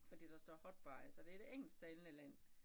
Fordi der står hot buys så det et engelsktalende land